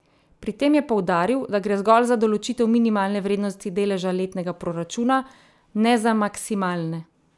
Pri tem je poudaril, da gre zgolj za določitev minimalne vrednosti deleža letnega proračuna, ne za maksimalne.